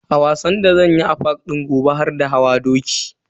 A wasan da zanyi a park din gobe har da hawa doki.